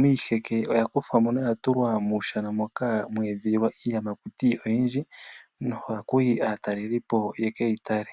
miiheke oyakuthwamo na oyatulwa mo mahala moka hamu edhililwa iiyamakuti oyindji nohakuhi aatalelipo yekeyitale.